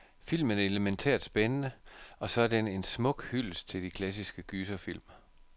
Filmen er elemæntært spændende, og så er den en smuk hyldest til de klassiske gyserfilm.